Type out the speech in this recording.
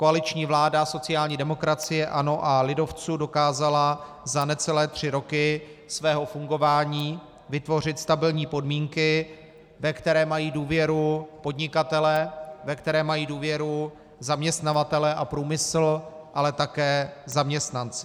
Koaliční vláda sociální demokracie, ANO a lidovců dokázala za necelé tři roky svého fungování vytvořit stabilní podmínky, ve které mají důvěru podnikatelé, ve které mají důvěru zaměstnavatelé a průmysl, ale také zaměstnanci.